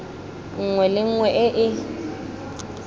nngwe le nngwe e e